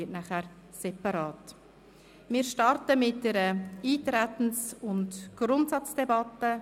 Wir beginnen mit einer Eintretens- und Grundsatzdebatte.